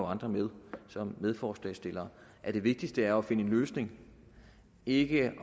andre med medforslagsstillere at det vigtigste er at finde en løsning ikke at